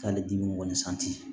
K'ale dimi kɔni